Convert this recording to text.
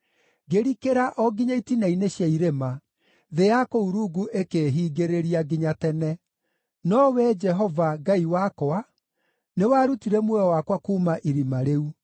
Ngĩrikĩra o nginya itina-inĩ cia irĩma; thĩ ya kũu rungu ĩkĩĩhingĩrĩria nginya tene. No Wee Jehova, Ngai wakwa, nĩwarutire muoyo wakwa kuuma irima rĩu.